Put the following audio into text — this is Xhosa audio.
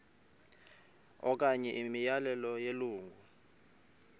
okanye imiyalelo yelungu